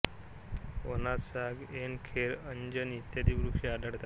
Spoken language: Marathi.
वनात साग ऐन खैर अंजन इत्यादी वृक्ष आढळतात